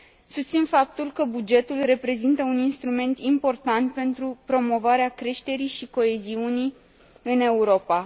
Susțin faptul că bugetul reprezintă un instrument important pentru promovarea creșterii și coeziunii în Europa.